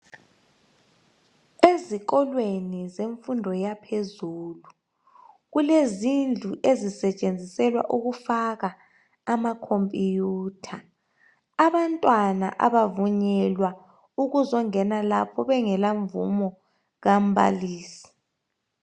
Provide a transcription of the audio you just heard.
Ezikolweni zemfundo yaphezulu kulezindlu ezisetshenziselwa ukufaka amacomputer . Abantwana abavunyelwa ukuzongena lapho bengela mvumo kambalisi